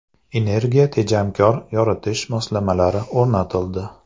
Energiya tejamkor yoritish moslamalari o‘rnatildi.